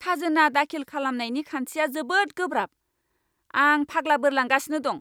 खाजोना दाखिल खालामनायनि खान्थिया जोबोद गोब्राब, आं फाग्ला बोरलांगासिनो दं।